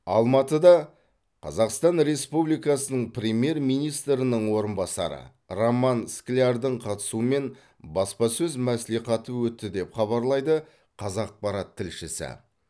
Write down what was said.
алматыда қазақстан республикасының премьер министрінің орынбасары роман склярдың қатысуымен баспасөз мәслихаты өтті деп хабарлайды қазақпарат тілшісі